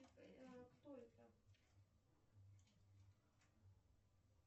кто это